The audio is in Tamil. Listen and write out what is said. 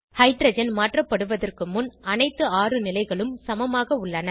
ஹைட்ரஜன் மாற்றப்படுவதற்கு முன் அனைத்து ஆறு நிலைகளும் சமமாக உள்ளன